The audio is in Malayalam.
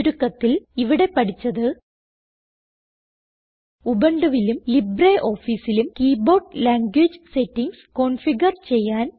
ചുരുക്കത്തിൽ ഇവിടെ പഠിച്ചത് ഉബുണ്ടുവിലും LibreOfficeലും കീബോർഡ് ലാംഗ്വേജ് സെറ്റിംഗ്സ് കോൺഫിഗർ ചെയ്യാൻ